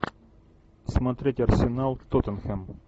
смотреть арсенал тоттенхэм